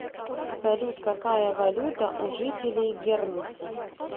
салют какая валюта у жителей гернси